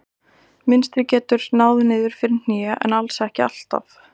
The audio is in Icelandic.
Mynstrið getur náð niður fyrir hné en alls ekki alltaf.